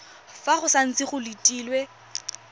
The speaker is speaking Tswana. fa go santse go letilwe